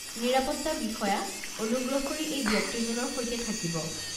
নিৰাপত্তা বিষয়া, অনুগ্ৰহ কৰি এই ব্যক্তিজনৰ সৈতে থাকিব।